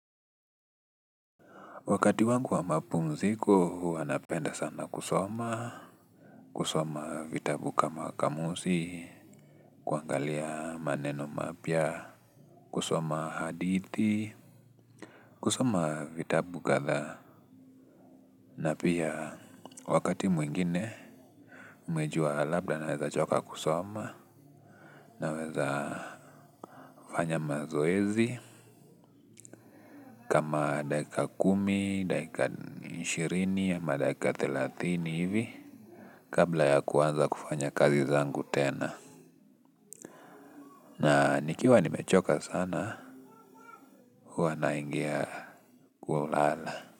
Wakati wangu wa mapumziko huwa napenda sana kusoma, kusoma vitabu kama kamusi kuangalia maneno mapya kusoma hadithi, kusoma vitabu kadha. Na pia wakati mwingine umejua labda naweza choka kusoma naweza fanya mazoezi kama dakika kumi, dakika ishirini ama dakika thelatini hivi kabla ya kuanza kufanya kazi zangu tena. Na nikiwa nimechoka sana huwa naingia kwa ulala.